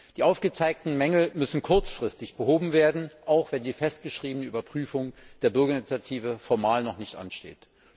Die aufgezeigten Mängel müssen kurzfristig behoben werden, auch wenn die festgeschriebene Überprüfung der Bürgerinitiative formal noch nicht ansteht.